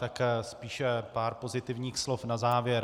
Tak spíš pár pozitivních slov na závěr.